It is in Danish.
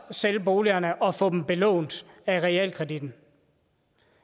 sælge boligerne og få dem belånt af realkreditten